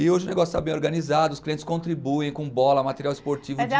E hoje o negócio está bem organizado, os clientes contribuem com bola, material esportivo